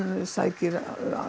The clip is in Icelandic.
sækir